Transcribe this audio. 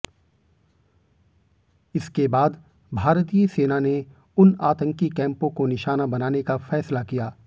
इसके बाद भारतीय सेना ने उन आतंकी कैम्पों को निशाना बनाने का फ़ैसला किया